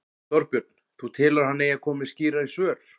Þorbjörn: Þú telur að hann eigi að koma með skýrari svör?